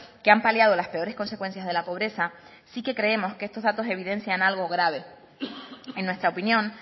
que han paliado las peores consecuencias de la pobreza sí que creemos que estos datos evidencian algo grave en nuestra opinión